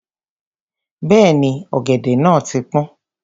Bẹ́ẹ̀ni, ọ̀gẹ̀dẹ̀ náà ti pọ́n.